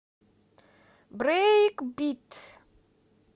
брейкбит